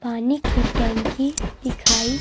पानी की टैंकी दिखाई--